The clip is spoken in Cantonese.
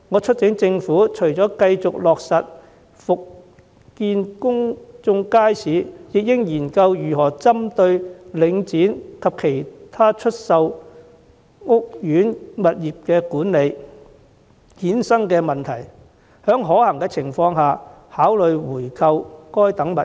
除了繼續落實復建公共街市外，我促請政府研究針對領展及其已出售的屋苑物業管理權所衍生的問題，在可行情況下考慮回購相關物業。